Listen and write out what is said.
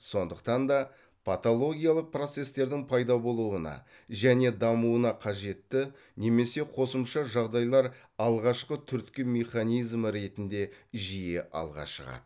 сондықтан да патологиялық процестердің пайда болуына және дамуына қажетті немесе қосымша жағдайлар алғашқы түрткі механизмі ретінде жиі алға шығады